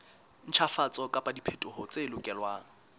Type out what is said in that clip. ntjhafatso kapa diphetoho tse lokelwang